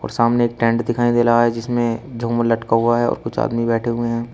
और सामने एक टेंट दिखाई दे रहा है जिसमें झूमर लटका हुआ है और कुछ आदमी बैठे हुए हैं।